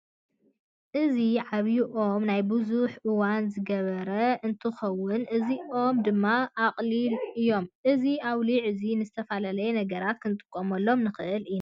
እዚ ዓብይ ኦም ናይ ቡዙሕ እዋን ዝገበረ እንትከውን እዚ ኦም ድማ ኣቅሊዕ እዩ። እዚ ኣውሊዕ እዚ ንዝትፈላለየ ነገራት ክንጥቀመሉ ንክእል ኢና።